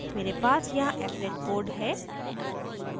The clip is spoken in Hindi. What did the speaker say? मेरे पास यहाँ applet code है